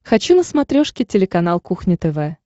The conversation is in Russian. хочу на смотрешке телеканал кухня тв